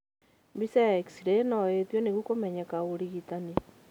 Mbica ya X-ray no ĩtio nĩguo kumenyeka ũrigitani